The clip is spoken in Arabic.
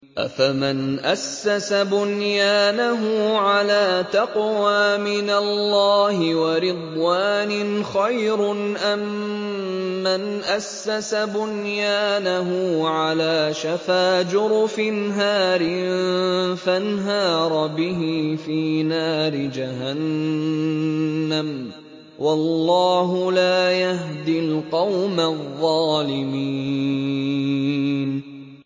أَفَمَنْ أَسَّسَ بُنْيَانَهُ عَلَىٰ تَقْوَىٰ مِنَ اللَّهِ وَرِضْوَانٍ خَيْرٌ أَم مَّنْ أَسَّسَ بُنْيَانَهُ عَلَىٰ شَفَا جُرُفٍ هَارٍ فَانْهَارَ بِهِ فِي نَارِ جَهَنَّمَ ۗ وَاللَّهُ لَا يَهْدِي الْقَوْمَ الظَّالِمِينَ